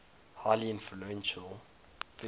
highly influential figure